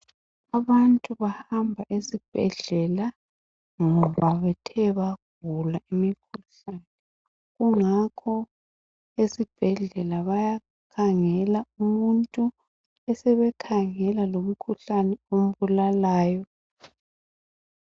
Abantu bahamba esibhedlela ngoba bethe bagula imikhuhlane kungakho esibhedlela bayakhangela umuntu besebekhangela lomkhuhlane ombulalayo